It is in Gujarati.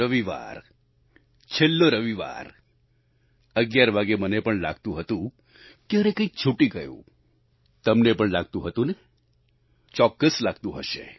રવિવાર છેલ્લો રવિવાર 11 વાગ્યે મને પણ લાગતું હતું કે અરે કંઈક છૂટી ગયું તમને પણ લાગતું હતું ને ચોક્કસ લાગતું હશે